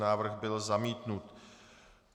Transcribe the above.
Návrh byl zamítnut.